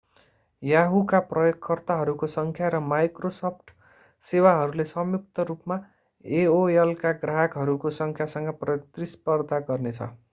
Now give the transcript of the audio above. yahoo का प्रयोगकर्ताहरूको संख्या र microsoft सेवाहरूले संयुक्त रूपमा एओएलका ग्राहकहरूको संख्यासँग प्रतिस्पर्धा गर्नेछ